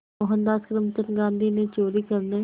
मोहनदास करमचंद गांधी ने चोरी करने